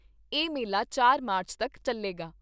ਇਹ ਮੇਲਾ ਚਾਰ ਮਾਰਚ ਤੱਕ ਚੱਲੇਗਾ।